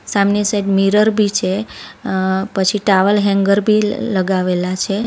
સામની side mirror બી છે અ પછી ટાવલ હેંગર બી લ લગાવેલા છે.